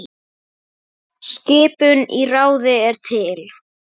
Skipun í ráðið er til